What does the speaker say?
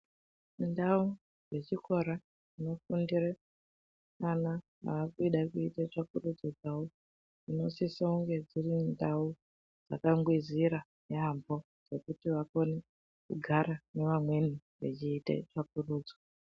Ndau dze chikora dzino fundire vana vakuda kuita tsvakurudzo dzavo dzino sisa kunge dziri ndau dzaka ngwizira yambo dzekuti vakone kugara ne vamweni vachiita tsvakurudzo.